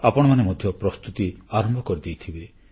ଆପଣମାନେ ମଧ୍ୟ ପ୍ରସ୍ତୁତି ଆରମ୍ଭ କରିଦେଇଥିବେ